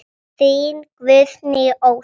Þín Guðný Ósk.